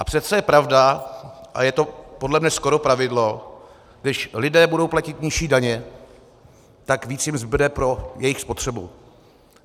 A přece je pravda a je to podle mě skoro pravidlo, když lidé budou platit nižší daně, tak víc jim zbude pro jejich spotřebu.